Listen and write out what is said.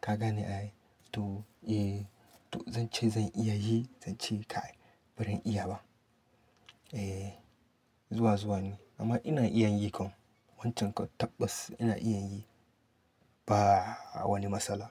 Ka gane ai? To eh to zan ce zan iya yi, zan ce kai ba zan iya ba. Eh zuwa zuwa ne amma ina iya yi kam. Wancan kwat tabbas ina iya yi ba wani matsala.